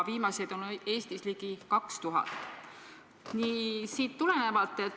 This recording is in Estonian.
Viimaseid on Eestis ligi 2000.